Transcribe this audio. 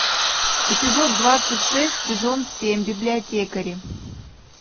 эпизод двадцать шесть сезон семь библиотекари